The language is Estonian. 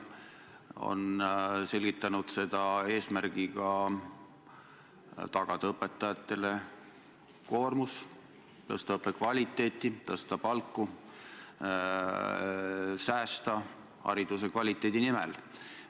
Nad on selgitanud seda eesmärgiga tagada õpetajatele koormus, tõsta õppekvaliteeti, tõsta palku, säästa hariduse ja kvaliteedi nimel.